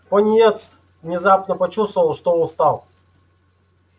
пониетс внезапно почувствовал что устал